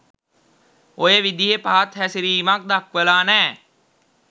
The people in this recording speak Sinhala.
ඔය විදිහෙ පහත් හැසිරීමක් දක්වලා නෑ.